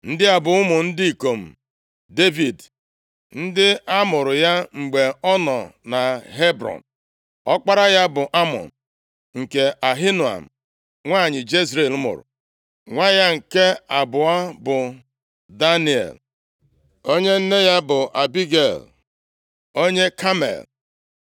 Ndị a bụ ụmụ ndị ikom Devid, ndị amụụrụ ya mgbe ọ nọ na Hebrọn. Ọkpara ya bụ Amnọn, nke Ahinoam bụ nwanyị Jezril mụrụ. Nwa ya nke abụọ bụ Daniel, onye nne ya bụ Abigel onye Kamel.